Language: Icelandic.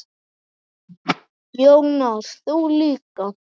Jónas: Þú líka?